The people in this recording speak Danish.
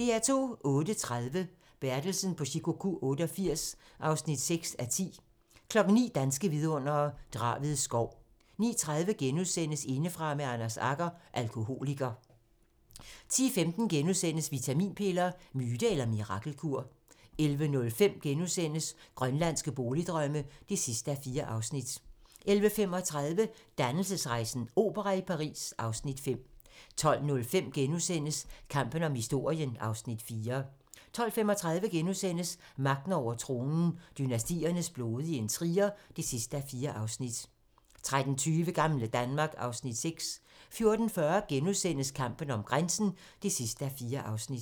08:30: Bertelsen på Shikoku 88 (6:10) 09:00: Danske vidundere: Draved Skov 09:30: Indefra med Anders Agger - Alkoholiker * 10:15: Vitaminpiller - myte eller mirakelkur? * 11:05: Grønlandske boligdrømme (4:4)* 11:35: Dannelsesrejsen - opera i Paris (Afs. 5) 12:05: Kampen om historien (Afs. 4)* 12:35: Magten over tronen - dynastiernes blodige intriger (4:4)* 13:20: Gamle Danmark (Afs. 6) 14:40: Kampen om grænsen (4:4)*